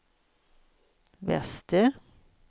väster